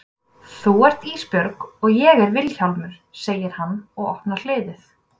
Þú ert Ísbjörg og ég er Vilhjálmur, segir hann og opnar hliðið.